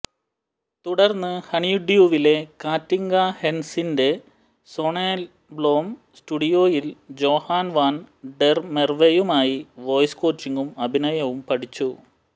തുടർന്ന് ഹണിഡ്യൂവിലെ കാറ്റിങ്ക ഹെൻസിന്റെ സോനെബ്ലോം സ്റ്റുഡിയോയിൽ ജോഹാൻ വാൻ ഡെർ മെർവെയുമായി വോയ്സ് കോച്ചിംഗും അഭിനയവും പഠിച്ചു